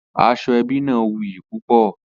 Aseebi náà wuyì púpọ̀.